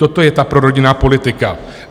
Toto je ta prorodinná politika.